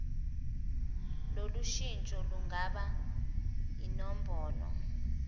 lolushintsho lungaba yinombholo